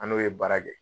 An n'o ye baara kɛ